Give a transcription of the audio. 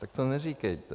Tak to neříkejte.